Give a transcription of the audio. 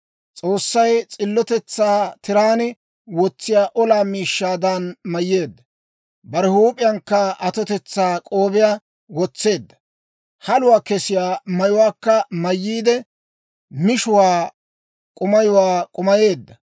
S'oossay s'illotetsaa tiraan wotsiyaa olaa miishshaadan mayyeedda; bare huup'iyankka atotetsaa k'oobiyaa wotseedda. Haluwaa kessiyaa mayuwaakka mayyiide, mishuwaa k'umayuwaa k'umayeedda.